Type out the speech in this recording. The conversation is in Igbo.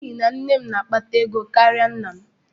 N'ihi na nne m na-akpata ego karịa nna m.